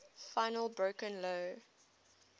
finally broke lou